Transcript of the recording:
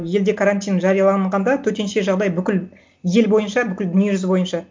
елде карантин жарияланғанда төтенше жағдай бүкіл ел бойынша бүкіл дүниежүзі бойынша